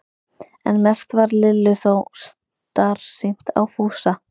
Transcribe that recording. En mest varð Lillu þó starsýnt á Fúsa.